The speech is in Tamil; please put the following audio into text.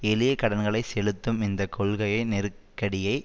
எளிய கடன்களை செலுத்தும் இந்த கொள்கையை நெருக்கடியை